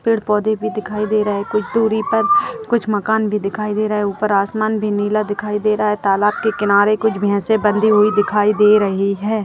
पेड़-पौधे भी दिखाई दे रहा हैं कुछ दुरी पर कुछ मकान भी दिखाई दे रहा हैं ऊपर आसमान भी नीला दिखाई दे रहा है तालाब के किनारे कुछ भैंसे बंधी हुई दिखाई दे रही हैं ।